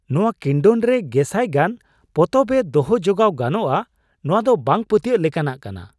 ᱱᱚᱶᱟ ᱠᱤᱱᱰᱚᱞ ᱨᱮ ᱜᱮᱥᱟᱭ ᱜᱟᱱ ᱯᱚᱛᱚᱵ ᱮ ᱫᱚᱦᱚ ᱡᱚᱜᱟᱣ ᱜᱟᱱᱚᱜᱼᱟ ᱾ ᱱᱚᱶᱟ ᱫᱚ ᱵᱟᱝ ᱯᱟᱹᱛᱭᱟᱹᱣ ᱞᱮᱠᱟᱱᱟᱜ ᱠᱟᱱᱟ !